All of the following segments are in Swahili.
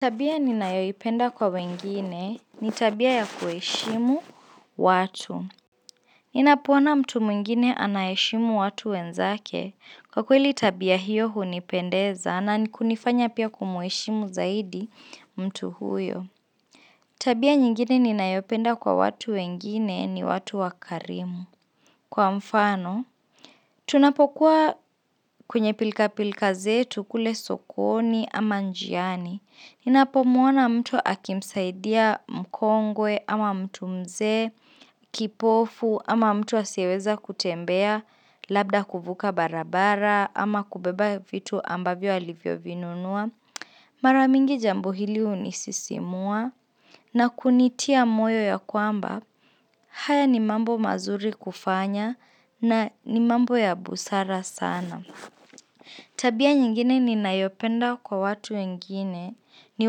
Tabia ninayoipenda kwa wengine ni tabia ya kuheshimu watu. Ninapo ona mtu mwingine ana heshimu watu wenzake. Kwa kweli tabia hiyo hunipendeza na kunifanya pia kumuheshimu zaidi mtu huyo. Tabia nyingine ninayopenda kwa watu wengine ni watu wakarimu. Kwa mfano, tunapokuwa kwenye pilka pilka zetu kule sokoni ama njiani. Ninapo muona mtu akimsaidia mkongwe ama mtu mzee kipofu ama mtu asiyeweza kutembea labda kuvuka barabara ama kubeba vitu ambavyo alivyo vinunua. Mara mingi jambo hili hunisisimua na kunitia moyo ya kwamba haya ni mambo mazuri kufanya na ni mambo ya busara sana. Tabia nyingine ninayopenda kwa watu wengine ni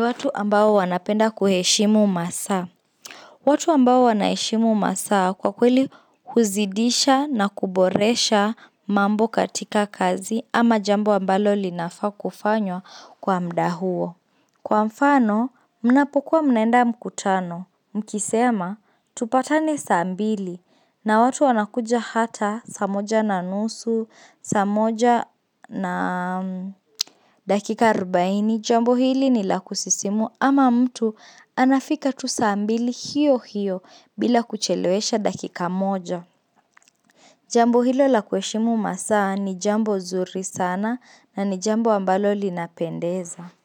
watu ambao wanapenda kuheshimu masaa watu ambao wanaheshimu masaa kwa kweli huzidisha na kuboresha mambo katika kazi ama jambo ambalo linafaa kufanywa kwa muda huo Kwa mfano, mnapokuwa mnaenda mkutano, mkisema, tupatane saa mbili na watu wanakuja hata, saa moja na nusu, saa moja na dakika arubaini, jambo hili ni la kusisimua ama mtu anafika tu saa mbili hiyo hiyo bila kuchelewesha dakika moja. Jambo hilo la kuheshimu masaa ni jambo nzuri sana na ni jambo ambalo linapendeza.